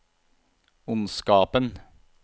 ondskapen